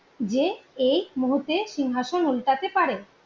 যে এই মুহূর্তে সিংহাসন উল্টাতে পারে